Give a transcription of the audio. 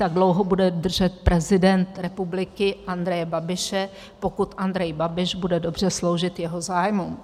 Tak dlouho bude držet prezident republiky Andreje Babiše, pokud Andrej Babiš bude dobře sloužit jeho zájmům.